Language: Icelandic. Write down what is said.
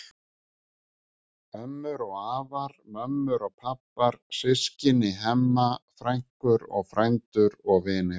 Ömmur og afar, mömmur og pabbar, systkini Hemma, frænkur og frændur og vinir.